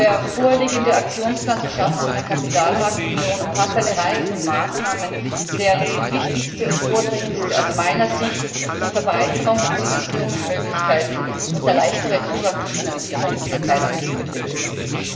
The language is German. Der vorliegende Aktionsplan zur Schaffung einer Kapitalmarktunion umfasst eine Reihe von Maßnahmen, deren wichtigste und vordringlichste aus meiner Sicht die Verbreiterung von Finanzierungsmöglichkeiten und der leichtere Zugang zu Finanzierung für Klein und Mittelbetriebe ist.